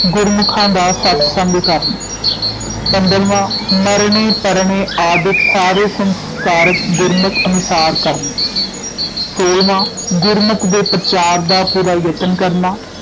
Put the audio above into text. ਗੁਰਮੁਖਾਂ ਦਾ ਸਤਿਸੰਗ ਕਰਨਾ ਪੰਦਰਵਾਂ ਮਰਣੇ ਪਰਣੇ ਆਦਿਕ ਸਾਰੇ ਸੰਸਕਾਰ ਗੁਰਮਤਿ ਅਨੁਸਾਰ ਕਰਨੇ ਸੋਹਲਵਾਂ ਗੁਰਮਤਿ ਦੇ ਪ੍ਰਚਾਰ ਦਾ ਪੂਰਾ ਯਤਨ ਕਰਨਾ